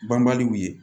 Banbaliw ye